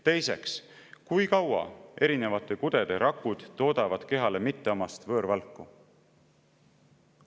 Teiseks, kui kaua erinevate kudede rakud toodavad kehale mitteomast võõrvalku?